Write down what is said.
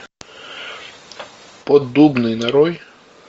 поддубный нарой